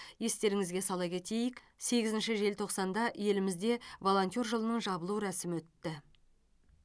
естеріңізге сала кетелік сегізінші желтоқсанда елімізде волонтер жылының жабылу рәсімі өтті